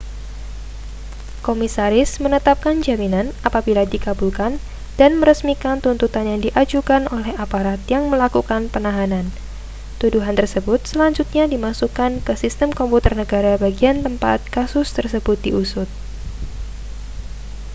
komisaris menetapkan jaminan apabila dikabulkan dan meresmikan tuntutan yang diajukan oleh aparat yang melakukan penahanan tuduhan tersebut selanjutnya dimasukkan ke sistem komputer negara bagian tempat kasus tersebut diusut